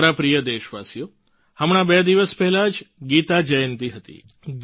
મારા પ્રિય દેશવાસીઓ હમણાં બે દિવસ પહેલાં જ ગીતા જયંતિ હતી